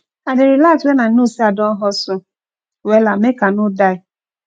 i dey relax wen i no sey i don hustle wella make i no die